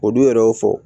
Olu yɛrɛ y'o fɔ